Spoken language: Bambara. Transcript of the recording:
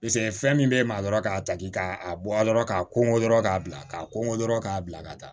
fɛn min bɛ e maa dɔrɔn k'a ta k'i k'a bɔ a rɔ k'a ko dɔrɔn k'a bila k'a kɔnko dɔrɔn k'a bila ka taa